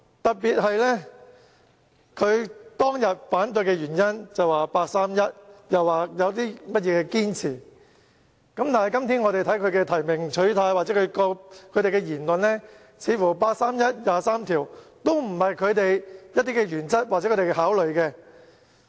特別是當日反對的原因是八三一決定，又說有所堅持，但今天他們的提名取態或言論似乎表示，八三一決定和《基本法》第二十三條都不是他們的原則或考慮因素。